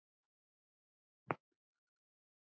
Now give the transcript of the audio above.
Hvað væri neikvætt við þetta?